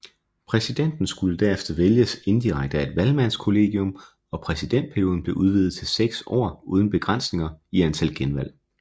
Præsidenten skulle herefter vælges indirekte af et valgmandskollegium og præsidentperioden blev udvidet til seks år uden begrænsninger i antal genvalg